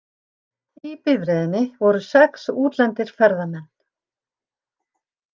Í bifreiðinni voru sex útlendir ferðamenn